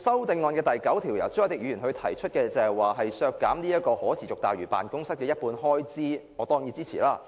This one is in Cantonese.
至於由朱凱廸議員提出的修正案編號 9， 建議削減可持續大嶼辦公室的一半開支，我當然予以支持。